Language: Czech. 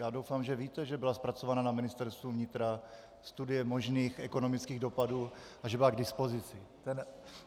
Já doufám, že víte, že byla zpracována na Ministerstvu vnitra studie možných ekonomických dopadů a že byla k dispozici.